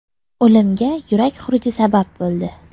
O‘limga yurak xuruji sabab bo‘ldi.